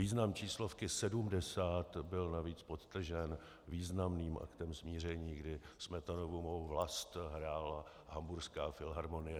Význam číslovky 70 byl navíc podtržen významným aktem smíření, kdy Smetanovu Mou vlast hrála Hamburská filharmonie.